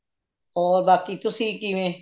ਔਰ ਬਾਕੀ ਤੁਸੀਂ ਕਿਵਵੇ